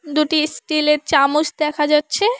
দুটি স্টিল -এর চামচ দেখা যাচ্ছে।